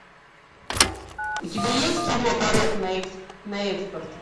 у тебя есть кино порок на экспорт